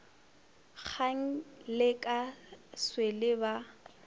kgang le ka swele ba